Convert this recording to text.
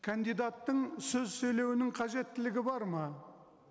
кандидаттың сөз сөйлеуінің қажеттілгі бар ма